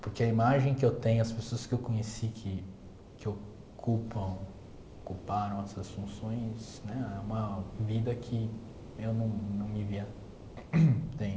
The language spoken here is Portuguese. Porque a imagem que eu tenho, as pessoas que eu conheci que que ocupam, ocuparam essas funções, né é uma vida que eu não não me via tendo.